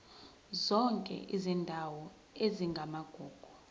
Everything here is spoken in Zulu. zonke izindawo ezingamagugu